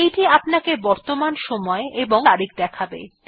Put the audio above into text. এইটি আপনাকে বর্তমান সময় এবং তারিখ দেখাবে